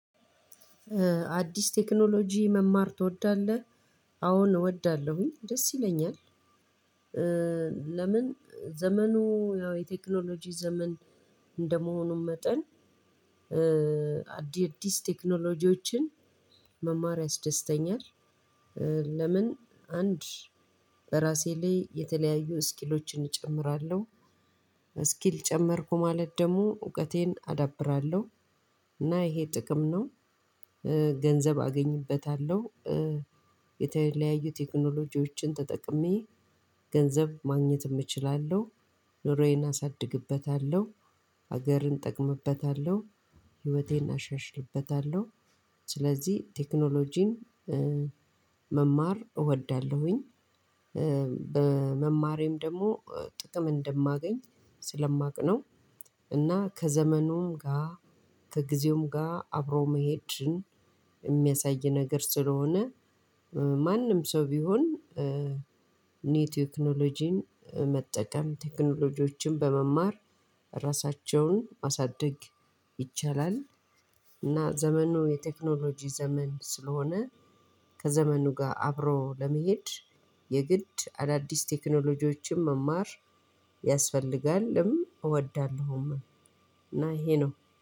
አዲስ ቴክኖሎጂ መማር ትወዳለህ? አዎን እወዳለሁኝ ደስ ይለኛል። ለምን ዘመኑ ያው የቴክኖሎጂ ዘመን እንደመሆኑም መጠን። አዲስ ቴክኖሎጂዎችን መማር ያስደስተኛል። አንድ በራሴ ላይ የተለያዩ ስኪሎችን እጨምራለሁ። ጨመርኩ ማለት ደግሞ እውቀቴን አዳብራለሁ። እና ይሄ ጥቅም ነው። ገንዘብ አገኝበታለሁ። የተለያዩ ቴክኖሎጂዎችን ተጠቅሜ ገንዘብ ማግኘትም እችላለሁ። ኑሮዬን አሳድግበታለሁ ሀገርን እጠቅምበታለሁ ህይወቴን አሻሽልበታለሁ ስለዚህ ቴክኖሎጂን መማር እወዳለሁኝ። በመማሬም ደሞ ጥቅም እንደማገኝ ስለማቅ ነው። እና ከዘመኑም ጋ ከጊዜውም ጋ አብሮ መሄድን የሚያሳይ ነገር ስለሆነ። ማንም ሰው ቢሆን። ኒው ቴክኖሎጂን መጠቀም ቴክኖሎጂዎችን በመማር ራሳቸውን ማሳደግ ይቻላል። እና ዘመኑ የቴክኖሎጂ ዘመን ስለሆነ። ከዘመኑ ጋር አብሮ ለመሄድ የግድ አዳዲስ ቴክኖሎጂዎችን መማር ያስፈልጋልም። እወዳለሁማ እና ይሄ ነው